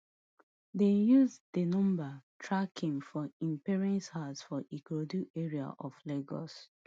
dem use di numbers track him to im parents house for ikorodu area of lagos